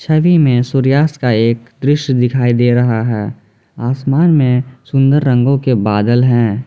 छवि में सूर्यास्त का एक दृश्य दिखाई दे रहा है आसमान में सुंदर रंगों के बादल हैं।